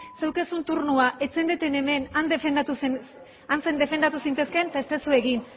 zeneukaten turnoa ez zeundeten hemen han defendatu zintezkeen eta ez duzu egin